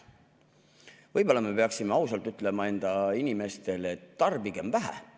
Võib-olla me peaksime ausalt ütlema enda inimestele, et tarbigem vähe.